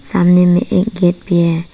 सामने में एक गेट भी है।